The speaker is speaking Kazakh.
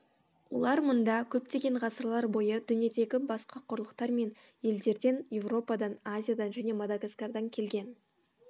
олар мұнда көптеген ғасырлар бойы дүниедегі басқа құрлықтар мен елдерден еуропадан азиядан және мадагаскардан келген